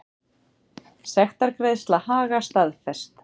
Sektargreiðsla Haga staðfest